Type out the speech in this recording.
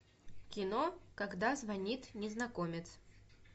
кино когда звонит незнакомец